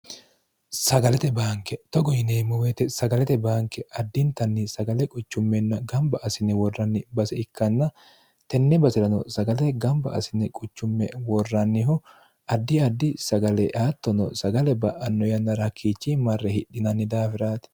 sagalete baanke togo yineemmomete sagalete baanke addintanni sagale quchummenna gamba asine worranni base ikkanna tenne basi'rano sagale gamba asine quchumme worranniho addi addi sagale aattono sagale ba'anno yanna rakkiichi marre hidhinanni daafiraati